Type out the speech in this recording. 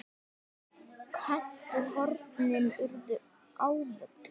Köntuð hornin urðu ávöl.